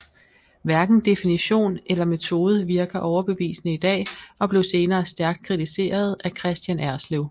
Hverken definition eller metode virker overbevisende i dag og blev senere stærkt kritiseret af Kristian Erslev